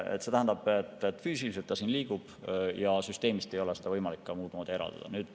See tähendab, et füüsiliselt ta siin liigub ja süsteemist ei ole seda võimalik ka kuidagi eraldada.